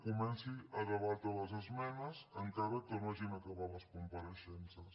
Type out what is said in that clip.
comenci a debatre les esmenes encara que no hagin acabat les compareixences